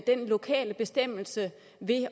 lokale bestemmelse ved